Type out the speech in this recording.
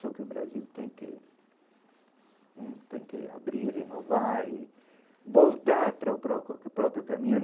Só que o Brasil tem que hum tem que abrir, renovar e voltar para o próprio próprio caminho.